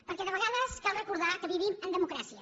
perquè de vegades cal recordar que vivim en democràcia